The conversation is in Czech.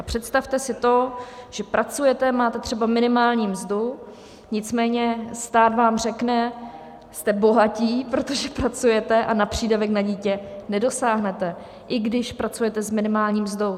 A představte si to, že pracujete, máte třeba minimální mzdu, nicméně stát vám řekne: Jste bohatí, protože pracujete, a na přídavek na dítě nedosáhnete - i když pracujete s minimální mzdou.